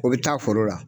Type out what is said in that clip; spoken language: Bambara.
O bɛ taa foro la